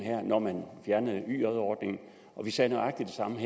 når man fjernede yj ordningen vi sagde nøjagtig det samme